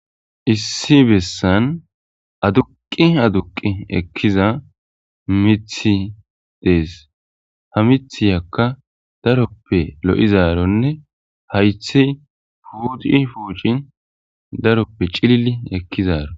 Issi bessan aduqi aduqi ekkiza mithi dees ha mithiyakka daroppe lo'izaronne haythi puuci fuucin daroppe cilili ekkizaaro.